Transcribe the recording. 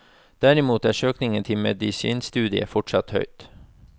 Derimot er søkningen til medisinstudiet fortsatt høy.